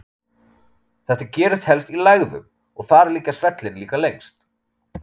Þetta gerist helst í lægðum, og þar liggja svellin líka lengst.